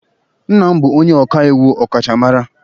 Nna m bụ onye ọka iwu ọkachamara